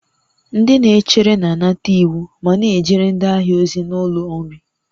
Ndị na-echere na-anata iwu ma na-ejere ndị ahịa ozi n'ụlọ nri